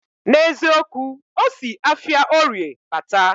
Na eziokwu, osi afia orie bata